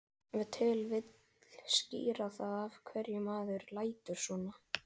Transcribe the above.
Að svo búnu fól hann öxi sína undir hempunni.